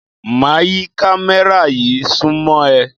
Máa yí kámẹ́rà yí súnmọ́ ẹ.